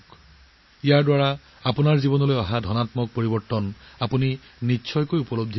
ইয়াৰ দ্বাৰা আপোনালোকে নিশ্চিতভাৱে আপোনালোকৰ জীৱনত ইতিবাচক পৰিৱৰ্তন অনুভৱ কৰিব